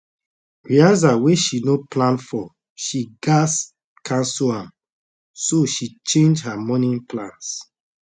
rehearsal wey she no plan for she gas cancel am so she change her morning plans